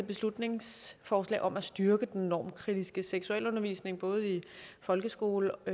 beslutningsforslag om at styrke den normkritiske seksualundervisning både i folkeskoler og